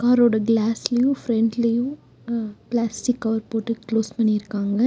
காரோட கிளாஸ்லையு ஃபிரண்ட்லயு அ பிளாஸ்டிக் கவர் போட்டு கிளோஸ் பண்ணிருக்காங்க.